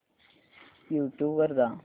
YouTube वर जा